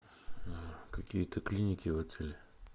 какие то клиники в отеле